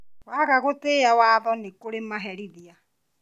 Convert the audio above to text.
Waga gũtĩĩa watho nĩkũrĩ maherithia